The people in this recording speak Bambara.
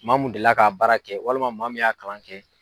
Maa mun delila k'a baara kɛ walima maa mun y'a kalan kɛ.